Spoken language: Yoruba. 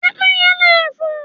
Pẹ́pẹ́yẹ leè fo